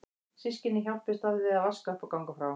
Systkynin hjálpuðust að við að vaska upp og ganga frá.